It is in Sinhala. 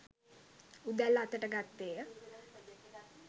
උදැල්ල අතට ගත්තේය